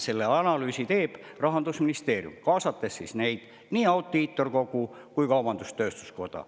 Selle analüüsi teeb Rahandusministeerium, kaasates nii Audiitorkogu kui ka kaubandus-tööstuskoda.